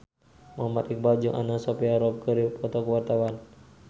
Muhammad Iqbal jeung Anna Sophia Robb keur dipoto ku wartawan